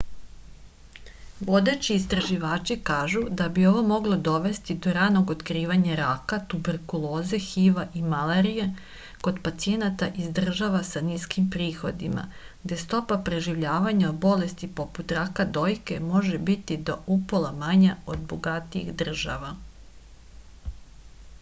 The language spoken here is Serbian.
vodeći istraživači kažu da bi ovo moglo dovesti do ranog otkrivanja raka tuberkuloze hiv-a i malarije kod pacijenata iz država sa niskim prihodima gde stopa preživljavanja od bolesti poput raka dojke može biti do upola manja od bogatijih država